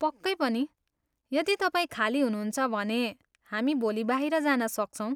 पक्कै पनि, यदि तपाईँ खाली हुनुहुन्छ भने हामी भोलि बाहिर जान सक्छौँ।